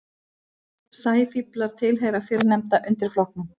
Mörk Evrópu og Asíu hafa lengi verið nokkuð á reiki.